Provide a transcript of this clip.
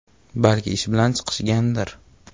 Balki ish bilan chiqishgandir.